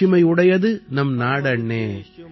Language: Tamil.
மாட்சிமை உடையது நம் நாடண்ணே